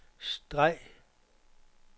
streg